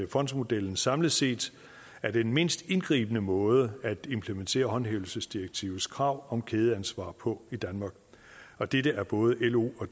fondsmodellen samlet set er den mindst indgribende måde at implementere håndhævelsesdirektivets krav om kædeansvar på i danmark og dette er både lo og